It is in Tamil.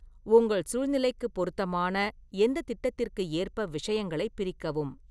உங்கள் சூழ்நிலைக்கு பொருத்தமான எந்த திட்டத்திற்கு ஏற்ப விஷயங்களைப் பிரிக்கவும்.